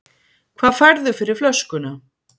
Hvað færðu fyrir flöskuna?